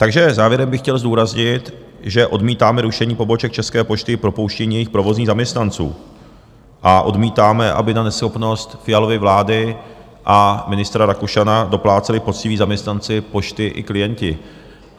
Takže závěrem bych chtěl zdůraznit, že odmítáme rušení poboček České pošty i propouštění jejich provozních zaměstnanců a odmítáme, aby na neschopnost Fialovy vlády a ministra Rakušana dopláceli poctiví zaměstnanci Pošty i klienti.